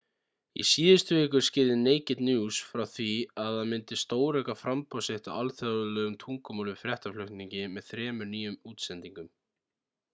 í síðustu viku skýrði naked news frá því að það myndi stórauka framboð sitt á alþjóðlegu tungumálum í fréttaflutningi með þremur nýjum útsendingum